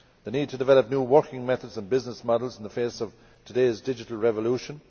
the need to develop new working methods and business models in the face of today's digital revolution